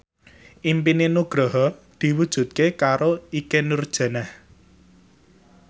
impine Nugroho diwujudke karo Ikke Nurjanah